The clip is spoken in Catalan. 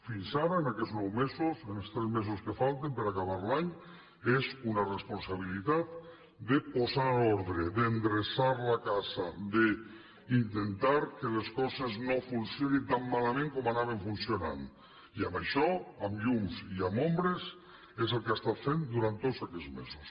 fins ara en aquests nou mesos en els tres mesos que falten per acabar l’any és una responsabilitat de posar ordre d’endreçar la casa d’intentar que les coses no funcionin tan malament com anaven funcionant i això amb llums i amb ombres és el que ha estat fent durant tots aquests mesos